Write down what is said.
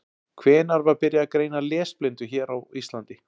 Hvenær var byrjað að greina lesblindu hér á Íslandi?